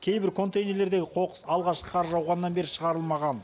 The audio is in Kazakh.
кейбір контейнерлердегі қоқыс алғашқы қар жауғаннан бері шығарылмаған